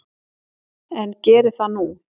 En geri það nú.